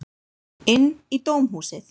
Inn í dómhúsið.